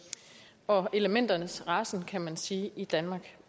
og elementernes rasen kan man sige i danmark